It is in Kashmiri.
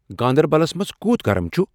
گاندربَلس منزکُوٗت گرم چُھ ؟